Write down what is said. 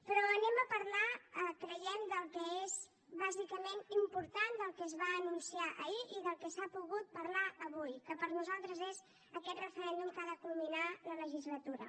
però parlarem creiem del que és bàsicament important del que es va anunciar ahir i del que s’ha pogut parlar avui que per nosaltres és aquest referèndum que ha de culminar la legislatura